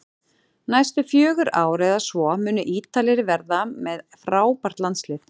Næstu fjögur ár eða svo munu Ítalir vera með frábært landslið